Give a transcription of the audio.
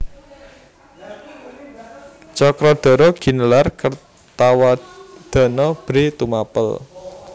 Cakradhara ginelar Kertawardhana Bhre Tumapèl